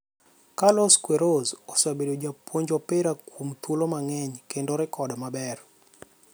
Carlos Queiroz osebedo japuonj opira kuom thuolo mang'eny kendo rekod maber.